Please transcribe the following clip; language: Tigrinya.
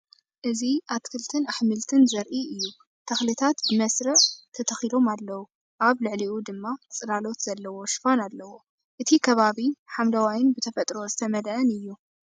እዚ ኣትክልቲን ኣሕምልቲ ዘርኢ እዩ፤ ተኽልታት ብመስርዕ ኣብ ተተኪሎም ኣለው፣ ኣብ ልዕሊኡ ድማ ጽላሎት ዘለዎ ሽፋን ኣለዎ። እቲ ከባቢ ሓምለዋይን ብተፈጥሮ ዝተመልአን እዩ።